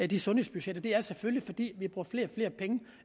de sundhedsbudgetter selvfølgelig er